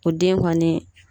O den kɔni